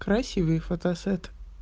красивый фотосет